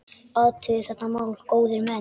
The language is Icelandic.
Athugið þetta mál, góðir menn!